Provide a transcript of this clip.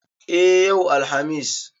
E, yau Alhamis.